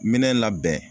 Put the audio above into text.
Minɛn labɛn